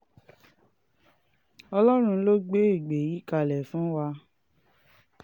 ọlọ́run ló gbé ègbé yìí kalẹ̀ fún wa